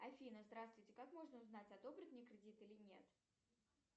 афина здравствуйте как можно узнать одобрят мне кредит или нет